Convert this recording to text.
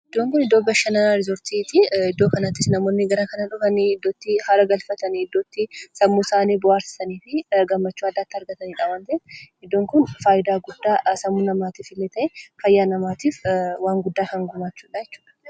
Iddoon kun iddoo bashannana 'riisortii' ti. Iddoo kanattis namoonni gara kana dhufanii, iddoo itti haara galfatanii, iddoo itti sammuu isaanii bohaarsaniifi gammachuu addaa argatanidha waan ta'eef, iddoon kun faayidaa guddaa sammuu namaatiifillee ta'ee, fayyaa namaatiif waan guddaa kan gumaachuudha jechuudha.